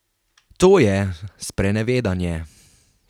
To je sprenevedanje!